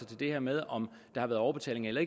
til det her med om der har været overbetaling eller